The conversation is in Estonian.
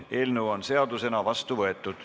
Eelnõu on seadusena vastu võetud.